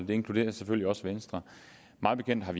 det inkluderer selvfølgelig også venstre mig bekendt er